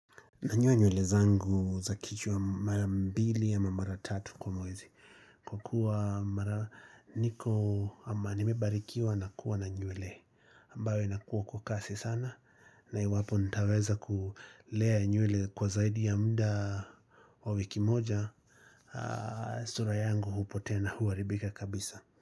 Nanyoa nywele zangu za kichwa mara mbili ama mara tatu kwa mwezi, Kwa kuwa mara niko ama nimebarikiwa na kuwa na nywele ambayo inakuwa kwa kasi sana na iwapo nitaweza kulea nywele kwa zaidi ya mda wa wiki moja sura yangu hupotea na huharibika kabisa.